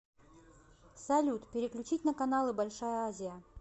салют переключить на каналы большая азия